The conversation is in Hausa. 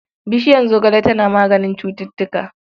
Bishiyar zogale tana maganin cututtuka.